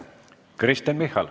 Kristen Michal.